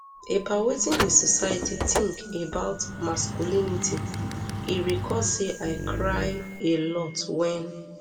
about wetin di society tink about masculinity e recall say i cry a lot wen